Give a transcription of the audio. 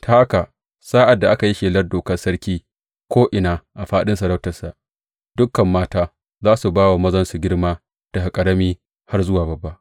Ta haka, sa’ad da aka yi shelar dokar sarki ko’ina a fāɗin masarautarsa, dukan mata za su ba wa mazansu girma, daga ƙarami har zuwa babba.